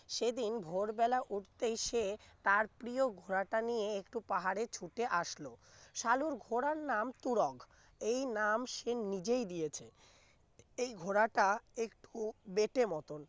সেদিন ভোরবেলা উঠতে এসে তার প্রিয় ঘোড়াটা নিয়ে একটু পাহাড়ে ছুটে আসলো সালুর ঘোড়ার নাম তুরগ এই নাম সে নিজেই দিয়েছে এই ঘোড়াটা একটু বেঁটে মতন